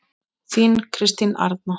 Þín Kristín Arna.